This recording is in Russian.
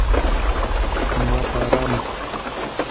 матарам